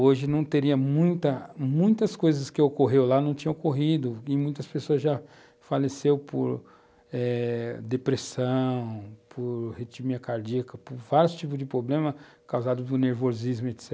Hoje, não teria muita, muitas coisas que ocorreram lá não tinham ocorrido e muitas pessoas já faleceram por depressão, por arritmia cardíaca, por vários tipos de problemas causados pelo nervosismo, etc.